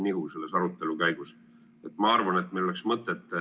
Miski selles asjas, lugupeetud rahvaesindajad, kisub nihu.